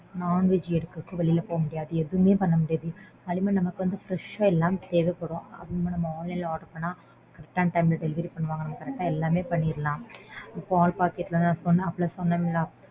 Non-veg எடுக்க வெளில போமுடியாது எதுவுமே பண்ண முடியாது அதே மாறி நமக்கு வந்து fresh ஆ எல்லாம் தேவைப்படும். Online ல order பண்ணா correct ஆன time ல delivery பண்ணுவாங்க. correct ஆ எல்லாமே பண்ணிரலாம். பால் packet கூட அப்போவே சொன்னேன்ல